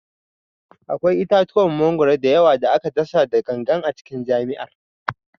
Akwai itatuwan mangwaro da yawa da aka dasa da gangan a cikin jami'ar